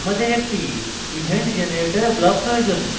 আমাদের একটি event generator block প্রয়োজন